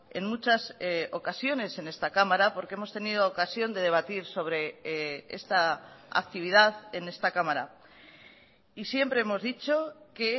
en muchas ocasiones en esta cámara porque hemos tenido ocasión de debatir sobre esta actividad en esta cámara y siempre hemos dicho que